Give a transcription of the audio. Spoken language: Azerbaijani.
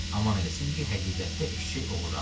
Aman eləsin ki, həqiqətdə eşşək oğurlanıb.